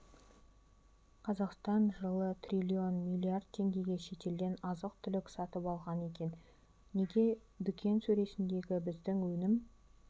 қазақстан жылы триллион миллиард теңгеге шетелден азық-түлік сатып алған екен неге дүкен сөресіндегі біздің өнім